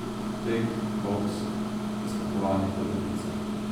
Tek, boks, preskakovanje kolebnice.